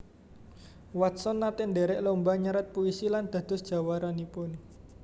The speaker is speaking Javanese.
Watson naté ndhèrèk lomba nyerat puisi lan dados jawaranipun